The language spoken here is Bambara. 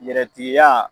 Yɛrɛtigiya